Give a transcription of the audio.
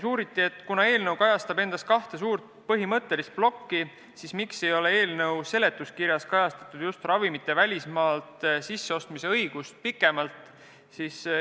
Uuriti, et kuna eelnõu sisaldab endas kahte suurt põhimõttelist plokki, siis miks ei ole seletuskirjas kajastatud ravimite välismaalt sisseostmise õigust pikemalt.